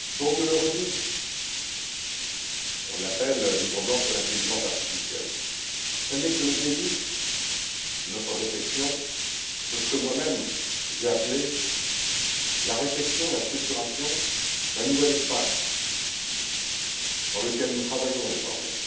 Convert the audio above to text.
Je le redis, on l'appelle le livre blanc sur l'intelligence artificielle, mais ce n'est que le début de notre réflexion sur ce que moi même j'ai appelé la réflexion, la structuration d'un nouvel espace dans lequel nous travaillons désormais,